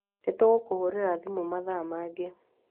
Nĩ tũgũkũhũrĩra thimũ mathaa mangĩ